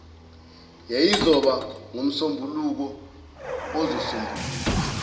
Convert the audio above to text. yayizoba ngomsombuluko ozosombuluka